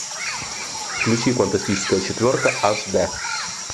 включи фантастическая четверка аш дэ